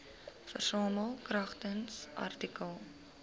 versamel kragtens artikel